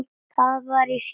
Það var í síðasta sinn.